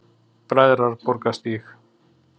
Bræðraborgarstíg